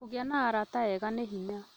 Kũgĩa na arata ega nĩ hinya